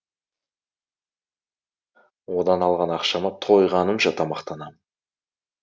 одан алған ақшама тойғанымша тамақтанамын